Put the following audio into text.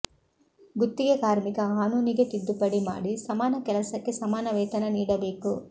ಗುತ್ತಿಗೆ ಕಾರ್ಮಿಕ ಕಾನೂನಿಗೆ ತಿದ್ದುಪಡಿ ಮಾಡಿ ಸಮಾನ ಕೆಲಸಕ್ಕೆ ಸಮಾನ ವೇತನ ನೀಡಬೇಕು